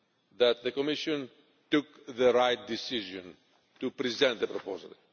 that the Commission took the right decision to present the proposal.